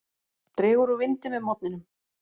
Dregur úr vindi með morgninum